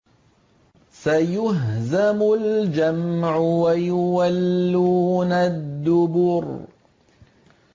سَيُهْزَمُ الْجَمْعُ وَيُوَلُّونَ الدُّبُرَ